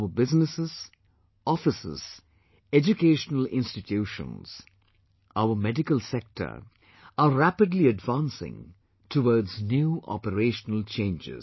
Our businesses, offices, educational institutions, our medical sector are rapidly advancing towards new operational changes